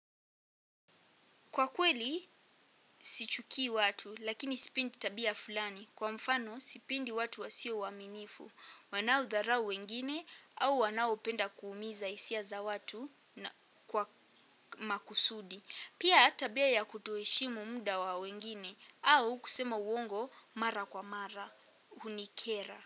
Kwa kweli, sichukii watu, lakini sipendi tabia fulani. Kwa mfano, sipendi watu wasio waaminifu. Wanaodharau wengine, au wanaopenda kuumiza hisia za watu kwa makusudi. Pia tabia ya kutoheshimu muda wa wengine, au kusema uongo mara kwa mara, hunikera.